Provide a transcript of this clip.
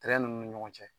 Tɛrɛ ninnu ni ɲɔgɔn cɛ